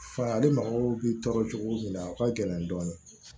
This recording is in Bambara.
Fali mɔgɔw bɛ tɔɔrɔ cogo min na a ka gɛlɛn dɔɔnin